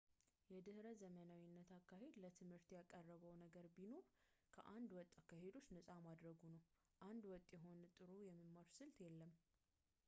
የድሕረ ዘመናዊነት አካሄድ ለትምህርት ያቀረበው ነገር ቢኖር ከአንድ ወጥ አካሄዶች ነፃ ማድረጉ ነው አንድ ወጥ የሆነ ጥሩ የመማር ስልት የለም